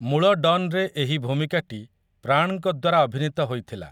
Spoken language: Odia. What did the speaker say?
ମୂଳ ଡନ୍‌ରେ ଏହି ଭୂମିକାଟି ପ୍ରାଣ୍‌ଙ୍କ ଦ୍ୱାରା ଅଭିନୀତ ହୋଇଥିଲା ।